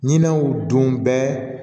Ɲinɛnw don bɛɛ